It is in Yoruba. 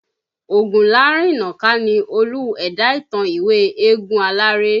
Ogunlarinnaka ni Olú ẹ̀dá ìtàn ìwé Eégún Aláré